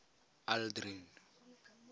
aldrin